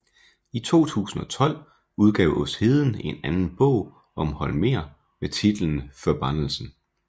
I 2012 udgav Åsheden en anden bog om Holmér med titlen Förbannelsen